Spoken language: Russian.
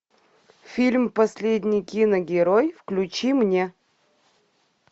фильм последний киногерой включи мне